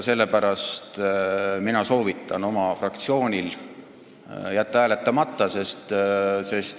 Sellepärast mina soovitan oma fraktsioonil jätta hääletamata.